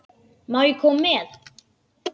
Má ég koma með?